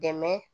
Dɛmɛ